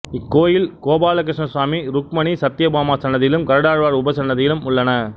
இக்கோயிலில் கோபாலகிருஷ்ணசுவாமி ருக்மணி சத்யபாமா சன்னதிகளும் கருடாழ்வார் உபசன்னதியும் உள்ளன